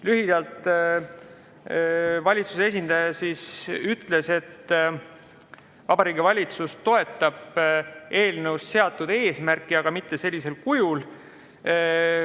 Lühidalt: valitsuse esindaja ütles, et Vabariigi Valitsus toetab eelnõus seatud eesmärki, aga mitte sellisel kujul.